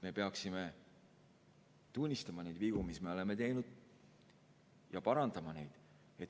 Me peaksime tunnistama vigu, mis me oleme teinud, ja parandama neid.